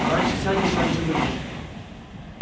раньше сядешь раньше выйдешь